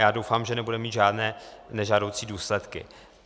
Já doufám, že nebude mít žádné nežádoucí důsledky.